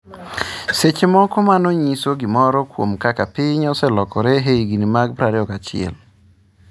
Seche moko mano nyiso gimoro kuom kaka piny oselokore e higni mag 21.